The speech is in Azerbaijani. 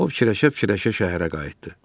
O fikirləşə-fikirləşə şəhərə qayıtdı.